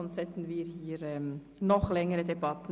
Sonst hätten wir noch längere Debatten.